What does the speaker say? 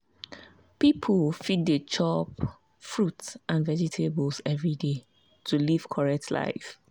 people fit dey chop fruit and vegetables every day to live correct life.